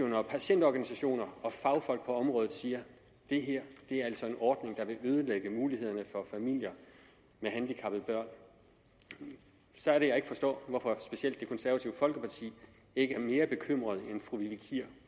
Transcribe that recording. når patientorganisationer og fagfolk på området siger at det her altså er en ordning der vil ødelægge mulighederne for familier med handicappede børn så er det jeg ikke forstår hvorfor især det konservative folkeparti ikke er mere bekymret end fru vivi kier